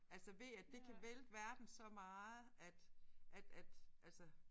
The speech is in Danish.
Altså ved at det kan vælte verden så meget at at at altså